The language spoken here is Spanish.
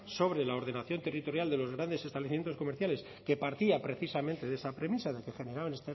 sobre la ordenación territorial de los grandes establecimientos comerciales que partía precisamente de esa premisa de que generar